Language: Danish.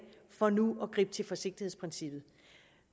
for nu at gribe til forsigtighedsprincippet